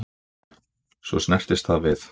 Svo snerist það við